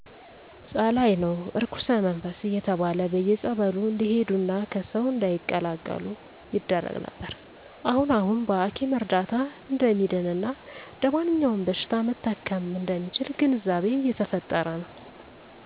ጸላኢ ነው እርኩስመንፈስ እየተባለ በየፀበሉ እንዲሄዱና ከሰው እንዳይቀላቀሉ ይደረግ ነበር አሁን አሁን በሀኪም እርዳታ እደሚድን እና እደማንኛውም በሺታ መታከም እደሚችል ግንዛቤ እየተፈጠረ ነው